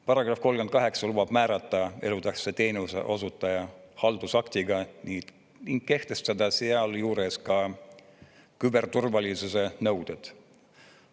Paragrahv 38 lubab määrata elutähtsa teenuse osutaja haldusaktiga ning kehtestada sealjuures ka küberturvalisuse nõuded.